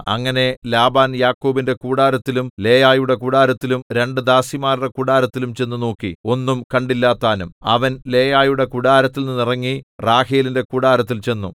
അങ്ങനെ ലാബാൻ യാക്കോബിന്റെ കൂടാരത്തിലും ലേയായുടെ കൂടാരത്തിലും രണ്ടു ദാസിമാരുടെ കൂടാരത്തിലും ചെന്നു നോക്കി ഒന്നും കണ്ടില്ലതാനും അവൻ ലേയായുടെ കൂടാരത്തിൽനിന്ന് ഇറങ്ങി റാഹേലിന്റെ കൂടാരത്തിൽ ചെന്നു